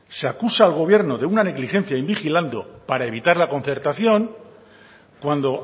se acusa al gobierno de una negligencia invigilando para evitar la concertación cuando